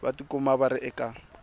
va tikuma va ri eka